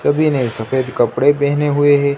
सभी ने सफेद कपड़े पहने हुए हे।